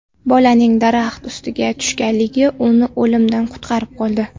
Bolaning daraxt ustiga tushganligi uni o‘limdan qutqarib qoldi.